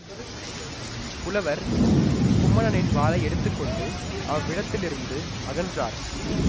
புலவர் குமணனின் வாளை எடுத்து கொண்டு அவ்விடத்தில் இருந்து அகன்றார்